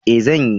E, zan yi.